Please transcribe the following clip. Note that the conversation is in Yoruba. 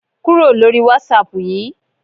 Kúrò lórí Whatsapp yìí!